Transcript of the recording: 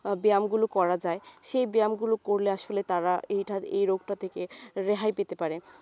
আহ ব্যায়ামগুলো করা যায় সেই ব্যায়ামগুলো করলে আসলে তারা এইটা এই রোগটা থেকে রেহাই পেতে পারে